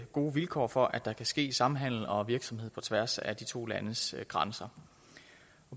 gode vilkår for at der kan ske samhandel og virksomhed på tværs af de to landes grænser